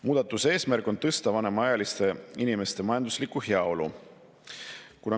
Muudatuse eesmärk on tõsta vanemaealiste inimeste majanduslikku heaolu.